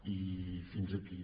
i fins aquí